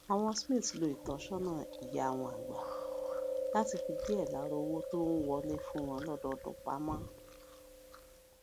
àwọn smith lo ìtósónà ìyá wọn àgbà láti fi díè lára owó tó ń wọlé fún wọn lódọọdún pa mó